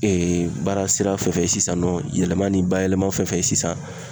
baara sira fɛ sisan nɔ ,yɛlɛma ni bayɛlɛma fɛn wo fɛn ye sisan